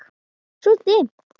Svo dimmdi.